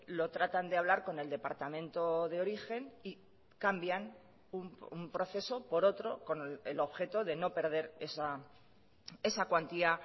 lo tratan de hablar con el departamento de origen y cambian un proceso por otro con el objeto de no perder esa cuantía